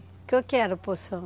O que que era o Poção?